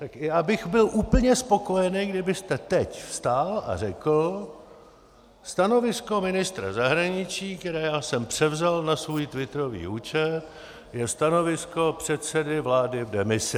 Tak já bych byl úplně spokojený, kdybyste teď vstal a řekl: Stanovisko ministra zahraničí, které já jsem převzal na svůj twitterový účet, je stanovisko předsedy vlády v demisi.